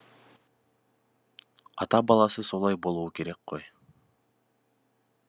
ата баласы солай болуы керек қой